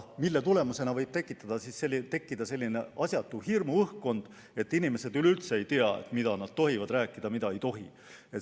Selle tagajärjel võib tekkida asjatu hirmuõhkkond, kus inimesed enam üldse ei tea, mida nad tohivad rääkida ja mida ei tohi.